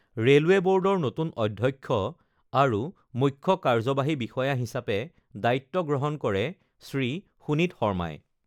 railway বৰ্ডৰ নতুন অধ্যক্ষ আৰু মুখ্য কাৰ্যবাহী বিষয়া হিচাপে দায়িত্ব গ্ৰহণ কৰে শ্ৰী সুনীত শৰ্মাই